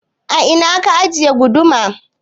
A ina ka ajiye guduma?